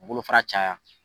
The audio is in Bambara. Bolofara caya.